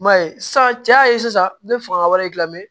I m'a ye sisan cɛ y'a ye sisan ne bɛ fanga wɛrɛ lamɛn